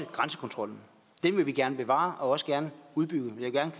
grænsekontrollen den vil vi gerne bevare og også gerne udbygge